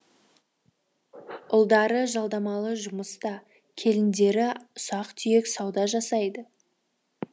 ұлдары жалдамалы жұмыста келіндері ұсақ түйек сауда жасайды